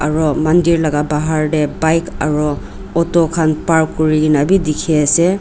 aro mandir laka bahar tae bike aro auto khan park kurikaena bi dikhiase.